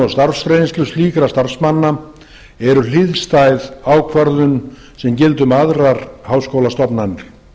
og starfsreynslu slíkra starfsmanna eru hliðstæð ákvörðun sem gilda um aðrar háskólastofnanir